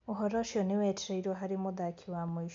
ũhoro ũcio nĩ wetereirwo harĩ mũthaki wa mũico.